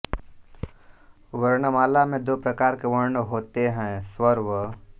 वर्णंमाला में दो प्रकार के वर्ण होते हैं स्वर व